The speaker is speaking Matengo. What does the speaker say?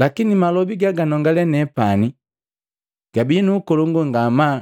Lakini malobi gaganongale nepani gabi nuukolongu ngamaa